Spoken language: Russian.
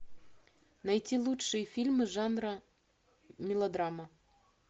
найти лучшие фильмы жанра мелодрама